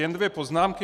Jen dvě poznámky.